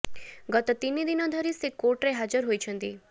ଗତ ତିନି ଦିନ ଧରି ସେ କୋର୍ଟରେ ହାଜର ହୋଇଛନ୍ତି